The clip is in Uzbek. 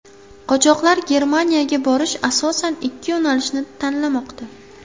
Qochoqlar Germaniyaga borish asosan ikki yo‘nalishni tanlamoqda .